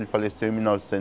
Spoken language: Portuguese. Ele faleceu em mil